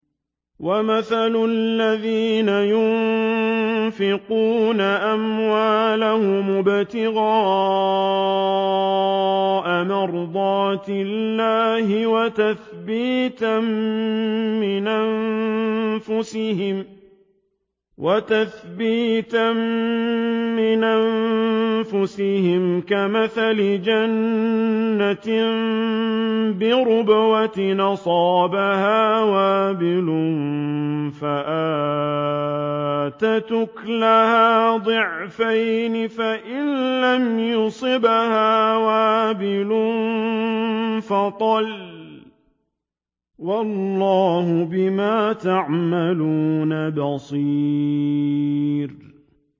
وَمَثَلُ الَّذِينَ يُنفِقُونَ أَمْوَالَهُمُ ابْتِغَاءَ مَرْضَاتِ اللَّهِ وَتَثْبِيتًا مِّنْ أَنفُسِهِمْ كَمَثَلِ جَنَّةٍ بِرَبْوَةٍ أَصَابَهَا وَابِلٌ فَآتَتْ أُكُلَهَا ضِعْفَيْنِ فَإِن لَّمْ يُصِبْهَا وَابِلٌ فَطَلٌّ ۗ وَاللَّهُ بِمَا تَعْمَلُونَ بَصِيرٌ